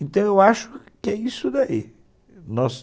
Então, eu acho que é isso daí. Nós